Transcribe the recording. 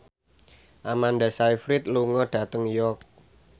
Amanda Sayfried lunga dhateng York